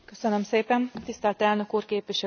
Tisztelt Elnök Úr, Képviselőtársak!